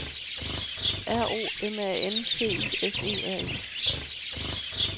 R O M A N T I S E R E